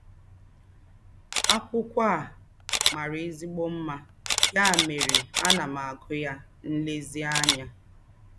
Ákwụ́kwọ́ à màrà èzí̄gbọ̀ mmá, yà mẹ́rè àná m ágụ́ yá nlèzíànyá.